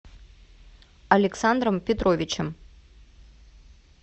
александром петровичем